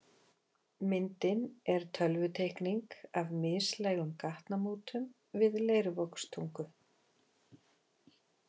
Myndin er tölvuteikning af mislægum gatnamótum við Leirvogstungu.